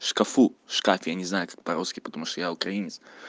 в шкафу в шкафе я не знаю как по-русски потому что я украинец